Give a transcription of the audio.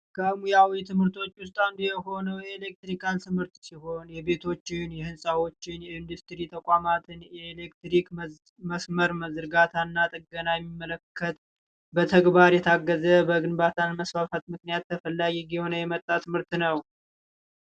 ከሙያዊ ትምህርቶች ውስጥ አንዱ የሆነው የኤሌክትሪካል ትምህርት ሲሆን የቤቶችን የህንፃዎችን ኢንዱስትሪ ተቋማት የኤሌክትሪክ መስመር መዘርጋታና ጥገና የሚመለከት ግንባታ የታገዘ በግንባታ መስፋፋትምክንያት ምርት ተፈላጊ እየሆነ የመጣ ነው።